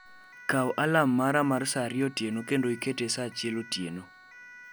kawo alarm mara mar saa ariyo otieno kendo ikete saa achiel otieno